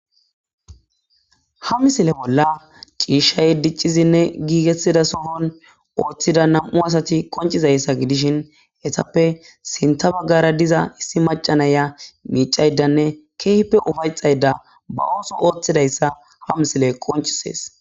Ha missile bola c'ishay dic'izine gigetiza sohoni othiza nam'u asati qonc'izaysa gidishin etape sinta bagara diza issi mac'a na'iya mic'aydane kehipe ufayxada ba oso othidaysa ha missiley qonc'ses.